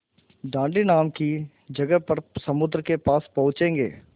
दाँडी नाम की जगह पर समुद्र के पास पहुँचेंगे